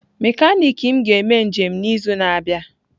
Mekaniki m ga-eme njem n'izu na-abịa.